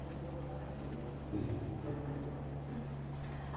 Você ainda está ativa, né?